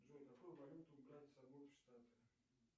джой какую валюту брать с собой в штаты